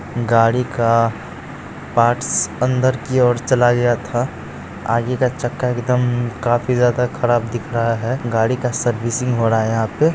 गाड़ी का पार्ट्स अंदर के ओर चला गया था आगे का चक्का एकदम काफी ज्यादा खराब दिख रहा है गाड़ी का सर्विसिंग्स हो रहा है यहां पे --